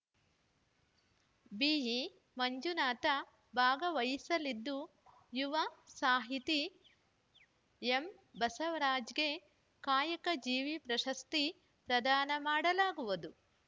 ಬಿಇಮಂಜುನಾಥ ಭಾಗವಹಿಸಲಿದ್ದು ಯುವ ಸಾಹಿತಿ ಎಂಬಸವರಾಜಗೆ ಕಾಯಕ ಜೀವಿ ಪ್ರಶಸ್ತಿ ಪ್ರದಾನ ಮಾಡಲಾಗುವುದು